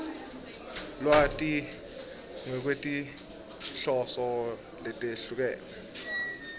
lwati ngekwetinhloso letehlukene